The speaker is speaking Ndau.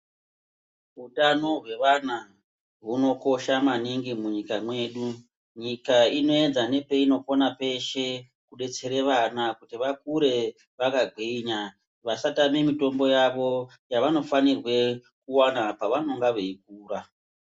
Utano hwewana hunokosha maningi munyika mwedu, nyika inoedza nepeinokona peshe kubetsere wana kuti wakure wakagwinya, wasatame mitombo yawo yawanofanirwe kuwana pawanenge weikura.